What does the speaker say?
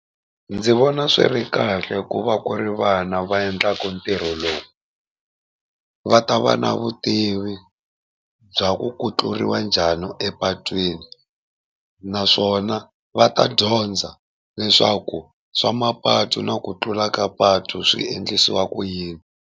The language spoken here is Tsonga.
Ndzi vona swi ri kahle ku va ku ri vana va endlaka ntirho lowu, va ta va na vutivi bya ku ku tluriwa njhani epatwini naswona va ta dyondza leswaku swa mapatu na ku tlula ka patu swi endlisiwa ku yini.